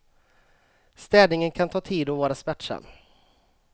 Städningen kan ta tid och vara smärtsam.